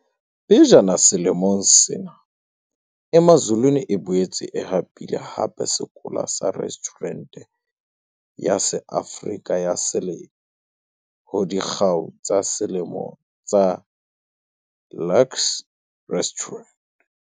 Pejana selemong sena Emazulwini e boetse e hapile hape sekola sa Restjhurente ya SeAfrika ya Selemo ho Dikgau tsa Selemo tsa Luxe Restaurant.